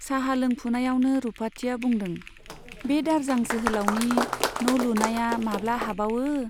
चाहा लोंफुनायावनो रुपाथिया बुदों , बे दारजां जोहोलाउनि न' लुनाया माब्ला हाबावो !